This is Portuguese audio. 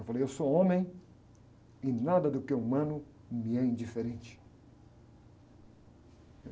Eu falei, eu sou homem e nada do que é humano me é indiferente.